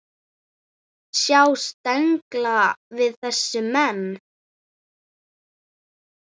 Sjá tengla við þessa menn.